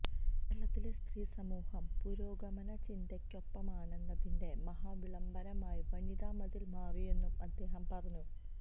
കേരളത്തിലെ സ്ത്രീസമൂഹം പുരോഗമന ചിന്തയ്ക്കൊപ്പമാണെന്നതിന്റെ മഹാവിളംബരമായി വനിതാ മതില് മാറിയെന്നും അദ്ദേഹം പറഞ്ഞു